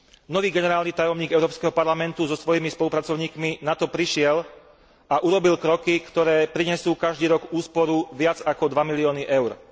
Nový generálny tajomník Európskeho parlamentu so svojimi spolupracovníkmi na to prišiel a urobil kroky, ktoré prinesú každý rok úsporu viac ako dva milióny EUR.